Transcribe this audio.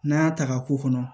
N'an y'a ta k'a k'u kɔnɔ